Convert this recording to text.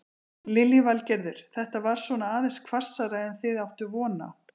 Lillý Valgerður: Þetta var svona aðeins hvassara en þið áttuð von á?